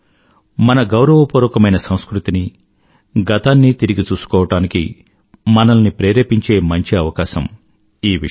మన గౌరవపూర్వకమైన సంస్కృతిని గతాన్ని తిరిగి చూసుకోవడానికి మనల్ని ప్రేరేపించే మంచి అవకాశం ఈ విషయం